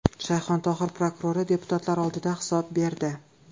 Shayxontohur prokurori deputatlar oldida hisob berdi.